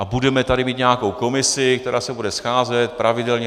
A budeme tady mít nějakou komisi, která se bude scházet pravidelně.